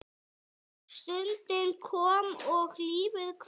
Stundin kom og lífið hvarf.